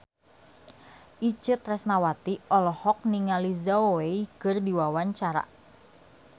Itje Tresnawati olohok ningali Zhao Wei keur diwawancara